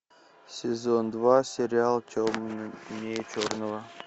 сезон два сериал темнее черного